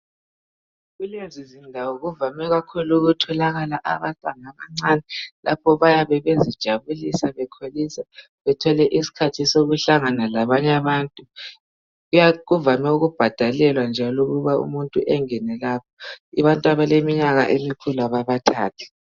Kulezizindawo kuvame kakhulu ukutholakala abantwana abancane lapho bayabe bezijabulisa bekholisa bethole isikhathi sokuhlangana labanye abantu kuvame ukubhadalelwa njalo ukuba umuntu engene lapho abantu abaleminyaka emikhulu ababathathi.